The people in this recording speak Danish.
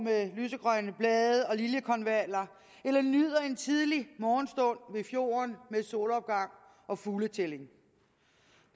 med lysegrønne blade og liljekonvaller eller nyder en tidlig morgenstund ved fjorden med solopgang og fugletælling